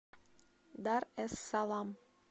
дар эс салам